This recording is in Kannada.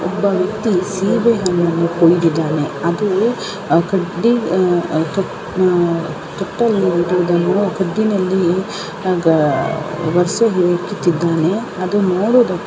ಒಬ್ಬ ವೆಕ್ತಿ ಸೀಬೆ ಹಣ್ಣನು ತೋರಿಸ್ತಾಹಿಡನೆ ಅದು ನೋಡುವದಕ್ಕೆ ಹಸಿರು ಬಣ್ಣ ಸೀಬೆ ಹಣ್ಣು ಆಗಿದೆ ಅದು ದಪ್ಪ ಹಾಗು ಎಲೆ ಬಿಳಿ ಆಗಿ ಕಾಣುತ್ತದೆ.